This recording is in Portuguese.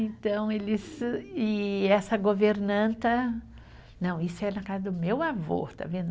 Então, eles, e essa governanta, não, isso é na casa do meu avô, está vendo?